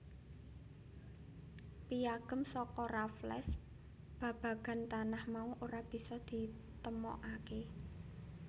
Piyagem saka Raffles babagan tanah mau ora bisa ditemokaké